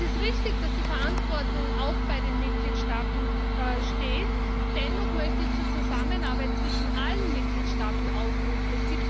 Es ist richtig, dass die Verantwortung auch bei den Mitgliedstaaten liegt. Dennoch möchte ich zur Zusammenarbeit zwischen allen Mitgliedstaaten aufrufen.